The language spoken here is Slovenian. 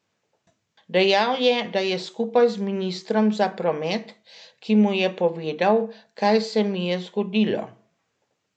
Dejal je, da je skupaj z ministrom za promet, ki mu je povedal, kaj se mi je zgodilo.